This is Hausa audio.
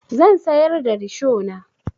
Zan sayar da rishona.